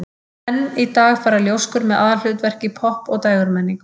Enn í dag fara ljóskur með aðalhlutverk í popp- og dægurmenningu.